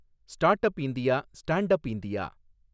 startup India, standup India